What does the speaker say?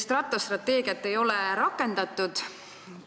Rattastrateegiat ei ole rakendatud.